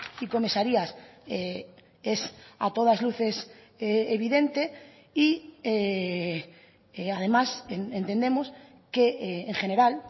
y comisarías es a todas luces evidente y además entendemos que en general